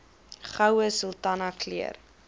goue sultana keur